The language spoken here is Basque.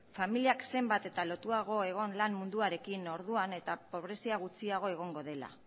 familiak zenbat eta lotuagoa egon lan munduarekin orduan eta pobrezia gutxiago egongo dela